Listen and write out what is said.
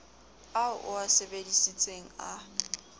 ao o a sebesisitseng a